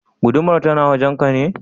Gudumar tana wajen ka ne?